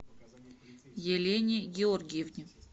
елене георгиевне